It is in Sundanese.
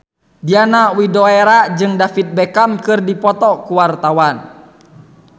Diana Widoera jeung David Beckham keur dipoto ku wartawan